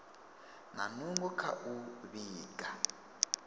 na nungo dza u vhiga